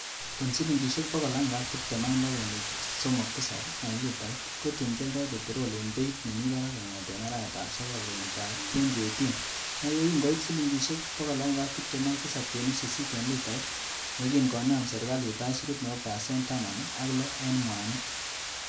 En silingisiek 126.37 en litait, kotun kioldo peterol en beit nemi barak kongeten arawetab sogol kenyitab 2018 ak yekin koit silingisiek 127.8 en litait, yekin konaam serkalit aisurut nebo pasen taman ak loo en mwanik.